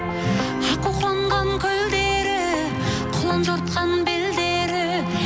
аққу қонған көлдері құлын жатқан белдері